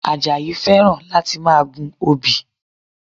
Àjàyí fẹ́ràn láti máa gun obì